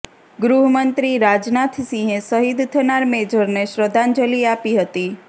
ગૃહમંત્રી રાજનાથ સિંહે શહીદ થનાર મેજરને શ્રદ્ધાંજલી આપી હતી